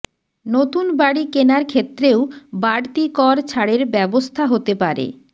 নতুন বাড়ি কেনার ক্ষেত্রেও বাড়তি কর ছাড়ের ব্যবস্থা হতে পারে